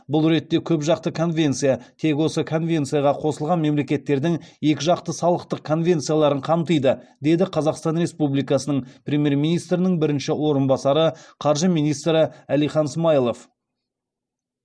бұл ретте көпжақты конвенция тек осы конвенцияға қосылған мемлекеттердің екіжақты салықтық конвенцияларын қамтиды деді қазақстан республикасы премьер министрінің бірінші орынбасары қаржы министрі әлихан смайылов